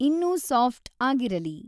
ಇನ್ನೂ ಸಾಫ್ಟ್‌ ಆಗಿರಲಿ